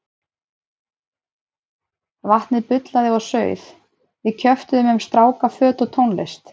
Vatnið bullaði og sauð, við kjöftuðum um stráka, föt og tónlist.